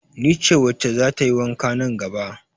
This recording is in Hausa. Ni ce wacce za ta yi wanka nan gaba?